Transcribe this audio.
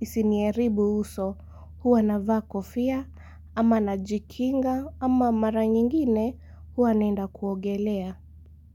isiniaribu uso huwa navaa kofia ama najikinga ama mara nyingine huwa naenda kuogelea.